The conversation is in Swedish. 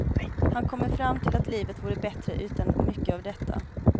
Han kommer fram till att livet vore bättre utan mycket av detta.